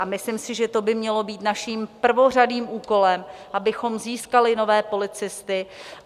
A myslím si, že to by mělo být naším prvořadým úkolem, abychom získali nové policisty.